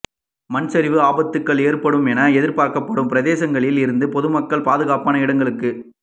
மண் சரிவு ஆபத்துக்கள் ஏற்படும் என எதிர்ப்பார்க்கப்படும் பிரதேசங்களில் இருந்து பொதுமக்கள் பாதுகாப்பான இடங்களுக்கு